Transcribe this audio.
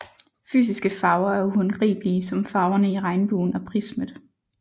Fysiske farver er uhåndgribelige som farvene i regnbuen og prismet